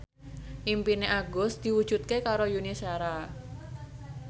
impine Agus diwujudke karo Yuni Shara